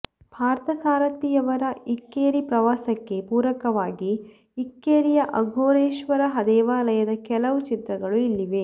ಪಾರ್ಥಸಾರಥಿಯವರ ಇಕ್ಕೇರಿ ಪ್ರವಾಸಕ್ಕೆ ಪೂರಕವಾಗಿ ಇಕ್ಕೇರಿಯ ಅಘೋರೇಶ್ವರ ದೇವಾಲಯದ ಕೆಲವು ಚಿತ್ರಗಳು ಇಲ್ಲಿವೆ